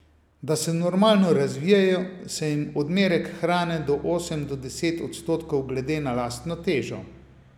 Da se normalno razvijejo, se jim odmerek hrane da osem do deset odstotkov glede na lastno težo.